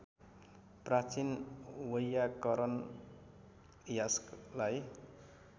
प्राचीन वैयाकरण यास्कलाई